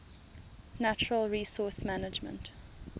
natural resource management